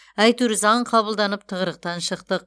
әйтеуір заң қабылдап тығырықтан шықтық